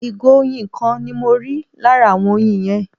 ìgò oyin kan ni mọ rí lára awon oyin yen